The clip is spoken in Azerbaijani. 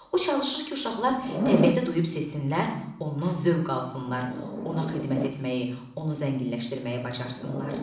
O çalışır ki, uşaqlar təbiəti duyub sevsinlər, ondan zövq alsınlar, ona xidmət etməyi, onu zənginləşdirməyi bacarsınlar.